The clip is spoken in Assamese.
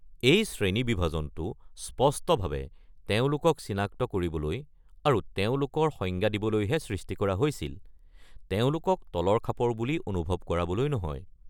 এই শ্ৰেণীবিভাজনটো স্পষ্টভাৱে তেওঁলোকক চিনাক্ত কৰিবলৈ আৰু তেওঁলোকৰ সংজ্ঞা দিবলৈহে সৃষ্টি কৰা হৈছিল, তেওঁলোকক তলৰ খাপৰ বুলি অনুভৱ কৰাবলৈ নহয়।